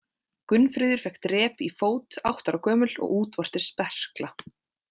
Gunnfríður fékk drep í fót átta ára gömul og útvortis berkla.